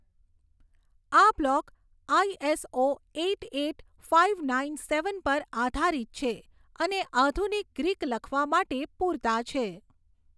આ block ISO eight eight five nine seven પર આધારિત છે અને આધુનિક ગ્રીક લખવા માટે પૂરતા છે.